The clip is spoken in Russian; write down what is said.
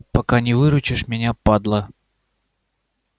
пока не выручишь меня падла